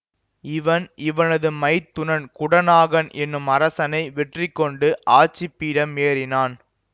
இவன் இவனது மைத்துனன் குடநாகன் எனும் அரசனை வெற்றிகொண்டு ஆட்சிபீடம் ஏறினான்